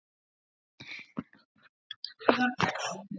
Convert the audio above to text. Ágætt veður var og við Georg bróðir, ásamt